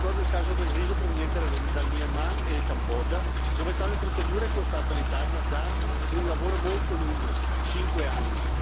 Ricordo il caso del riso proveniente da Myanmar e Cambogia, dove tale procedura è costata all'Italia danni ed un lavoro molto lungo 5 anni.